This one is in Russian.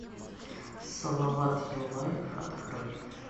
салават юлаев открой